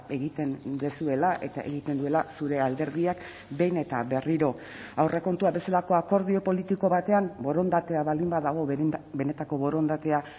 egiten duzuela eta egiten duela zure alderdiak behin eta berriro aurrekontuak bezalako akordio politiko batean borondatea baldin badago benetako borondatea